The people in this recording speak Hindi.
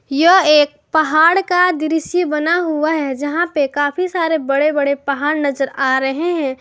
यह एक पहाड़ का दृश्य बना हुआ है जहां पे काफी सारे बड़े बड़े पहाड़ नजर आ रहे हैं।